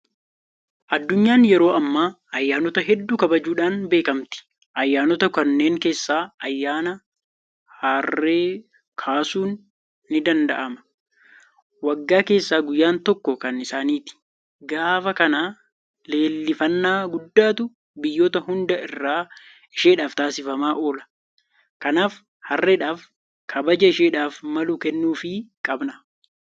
Addunyaan yeroo ammaa ayyaanota hedduu kabajuudhaan beekamti. Ayyaanota kanneen keessaa ayyaana Harree kaasuun nidanda'am. Waggaa keessaa guyyaan tokko kan isaaniiti. Gaafa kana leellifannaa guddaatu biyyoota hunda irraa isheedhaaf taasifamaa oola. Kanaaf Harreedhaaf kabaja isheedhaaf malu kennuufii qabna.